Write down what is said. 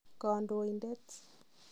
Kondoindet?